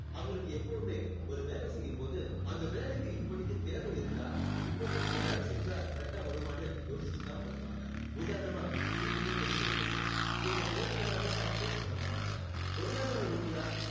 அவங்களுக்கு எப்பவுமே ஒரு வேலை செய்யும்போது அந்த வேலைக்கு இப்போதைக்கு தேவை இருக்கா இப்போதைக்கு இந்த வேலை செஞ்சா correct ஆ வருமான்னு யோசிச்சு தான் பண்ணுவாங்க. உதாரணமா வீட்டுக்கு paint அடிக்கிறது. இவங்க தேவையில்லாம time waste பண்ண மாட்டாங்க பொருளாதார ரீதியா